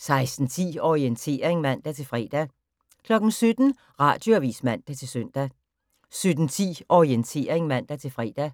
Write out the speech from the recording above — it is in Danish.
16:10: Orientering (man-fre) 17:00: Radioavis (man-søn) 17:10: Orientering (man-fre)